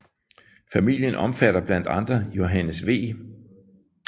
Familien omfatter blandt andre Johannes V